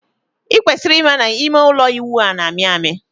I kwesiri ịma na ime ụlọ ịwụ a na-amị amị.